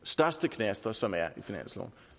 største knaster som er i finansloven